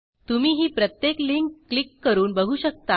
तुम्ही ही प्रत्येक लिंक क्लिक करून बघू शकता